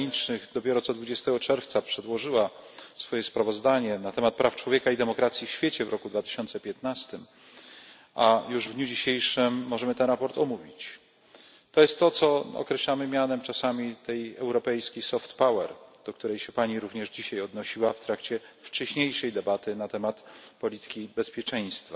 Zagranicznych dopiero co, 20 czerwca, przedłożyła swoje sprawozdanie na temat praw człowieka i demokracji w świecie w roku 2015, a już w dniu dzisiejszym możemy to sprawozdanie omówić. To jest to, co czasami określamy mianem europejskiej soft power, do której się Pani również dzisiaj odnosiła w trakcie wcześniejszej debaty na temat polityki bezpieczeństwa.